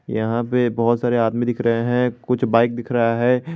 यहां पे बहुत सारे आदमी दिख रहे हैं कुछ बाइक दिख रहा है।